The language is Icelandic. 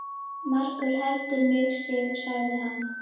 Margur heldur mig sig, sagði hann.